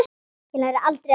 Ég lærði aldrei að hjóla.